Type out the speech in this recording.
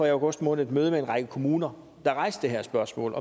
i august måned et møde med en række kommuner der rejste det her spørgsmål